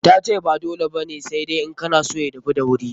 Ta ce ba dole ba ne, sai dai in kana son ya dahu da wuri.